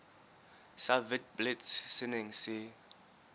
sa witblits se neng se